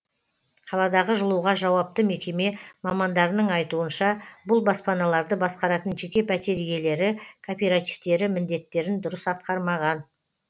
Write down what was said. қаладағы жылуға жауапты мекеме мамандарының айтуынша бұл баспаналарды басқаратын жеке пәтер иелері кооперативтері міндеттерін дұрыс атқармаған